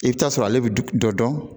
I bɛ t'a sɔrɔ ale bɛ dɔ dɔn